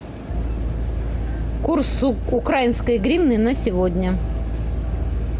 курс украинской гривны на сегодня